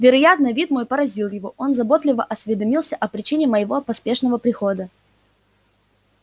вероятно вид мой поразил его он заботливо осведомился о причине моего поспешного прихода